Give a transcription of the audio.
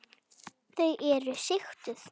Þau svo sigtuð.